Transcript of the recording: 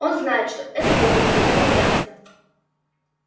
он знает что этого ему никогда не удастся